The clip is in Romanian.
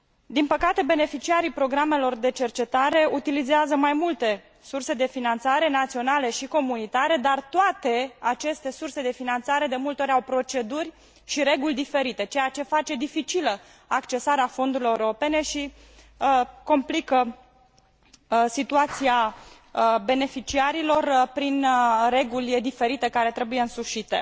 Din păcate beneficiarii programelor de cercetare utilizează mai multe surse de finanțare naționale și comunitare, dar toate aceste surse de finanțare de multe ori au proceduri și reguli diferite, ceea ce face dificilă accesarea fondurilor europene și complică situația beneficiarilor prin reguli diferite care trebuie însușite.